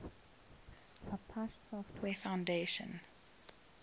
apache software foundation